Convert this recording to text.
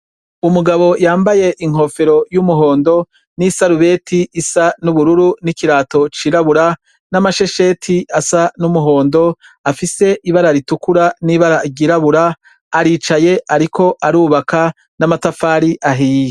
Umugabo yambaye inkofero y'umuhondo n'isalubeti isa n'ubururu n'ikirato c'irabura n'amashesheti asa n'umuhondo afise ibara ritukura n'ibara ryirabura aricaye, ariko arubaka n'amatafari ahiye.